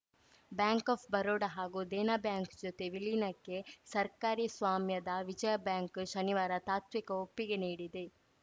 bank of Baroda ಹಾಗೂ Dena bank ಜೊತೆ ವಿಲೀನಕ್ಕೆ ಸರ್ಕಾರಿ ಸ್ವಾಮ್ಯದ ವಿಜಯಾ ಬ್ಯಾಂಕ್‌ ಶನಿವಾರ ತಾತ್ವಿಕ ಒಪ್ಪಿಗೆ ನೀಡಿದೆ